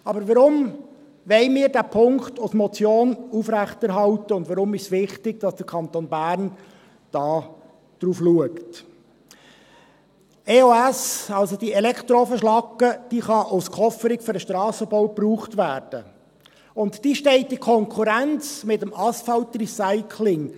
Aber warum wollen wir diesen Punkt als Motion aufrechterhalten, und warum ist es wichtig, dass der Kanton Bern darauf achtet: EOS, also die Elektroofenschlacke, kann als Kofferung für den Strassenbau verwendet werden, und sie steht in Konkurrenz mit dem Asphaltrecycling.